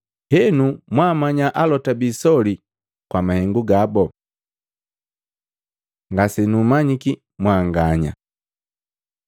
Henu mwaamanya alota biisoli kwa mahengu gabu.” Ngasenummanyi mwanganya Luka 13:25-27